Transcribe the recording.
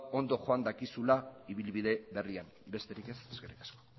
ondo joan dakizula ibilbide berrian besterik ez eskerrik asko